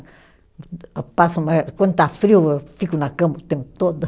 Quando está frio, eu fico na cama o tempo todo.